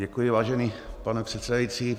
Děkuji, vážený pane předsedající.